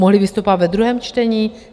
Mohli vystupovat ve druhém čtení?